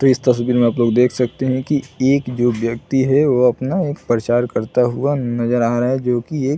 तो इस तस्वीर मे आपलोग देख सकते है की एक जो व्यक्ति है वो अपना परचार करता हुआ नज़र आ रहा है जो की एक--